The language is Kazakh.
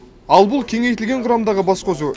ал бұл кеңейтілген құрамдағы басқосу